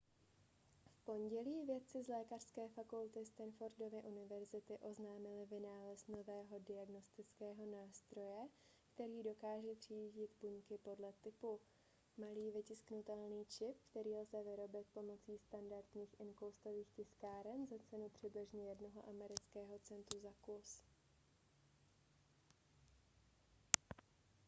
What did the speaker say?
v pondělí vědci z lékařské fakulty stanfordovy univerzity oznámili vynález nového diagnostického nástroje který dokáže třídit buňky podle typu malý vytisknutelný čip který lze vyrobit pomocí standardních inkoustových tiskáren za cenu přibližně jednoho amerického centu za kus